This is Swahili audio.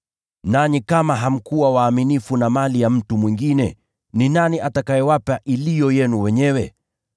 Nanyi kama hamkuwa waaminifu na mali ya mtu mwingine, ni nani atakayewapa iliyo yenu wenyewe?